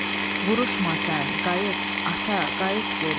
Vuruşma sən, qayıt, ata, qayıt geri.